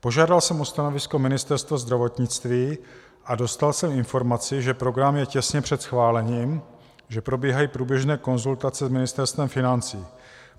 Požádal jsem o stanovisko Ministerstvo zdravotnictví a dostal jsem informaci, že program je těsně před schválením, že probíhají průběžné konzultace s Ministerstvem financí.